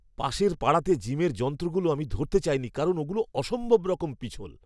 পাশের পাড়াতে জিমের যন্ত্রগুলো আমি ধরতে চাইনি কারণ ওগুলো অসম্ভবরকম পিছল!